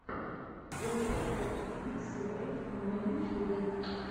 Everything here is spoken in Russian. бобкэт линкс лайв на ютьюбе